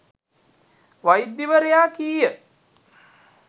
වෛද්‍යවරයා කීය.